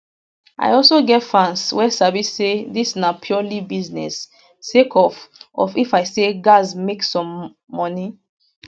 i also get fans wey sabi say dis na purely business sake of of i say gatz make some moni